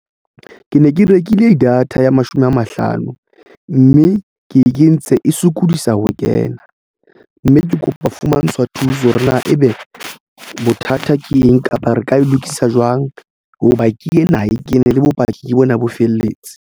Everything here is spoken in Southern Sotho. Ke ne ke rekile data ya mashome a mahlano mme ke e kentse e sokodisa ho kena mme ke kopa fumantshwa thuso hore na ebe bothata ke eng kapa re ka e lokisa jwang hoba ke ena e kene le bopaki ke bona bo felletse.